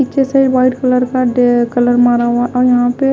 नीचे से white colour का कलर मारा हुआ है यहां पे--